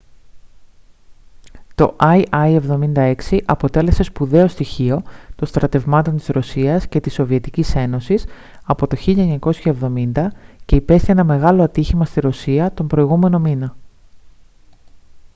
το il-76 αποτέλεσε σπουδαίο στοιχείο των στρατευμάτων της ρωσίας και της σοβιετικής ένωσης από το 1970 και υπέστη ένα μεγάλο ατύχημα στη ρωσία τον προηγούμενο μήνα